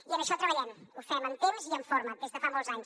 i en això treballem ho fem en temps i en forma des de fa molts anys